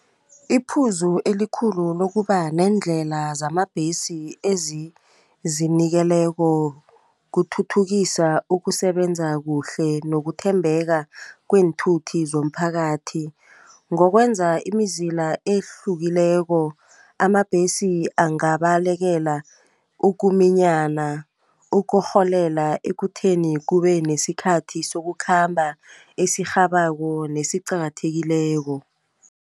Iphuzu elikhulu lokuba neendlela zamabhesi ezizinikeleko kuthuthukisa ukusebenza kuhle nokuthembeka kweenthuthi zomphakathi. Ngokwenza imizila ehlukileko amabhesi angabalekela ukuminyana, ukurholela ekutheni kubenesikhathi sokukhamba esirhabako nesiqakathekileko.